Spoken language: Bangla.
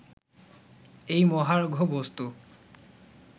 এই মহার্ঘ বস্তু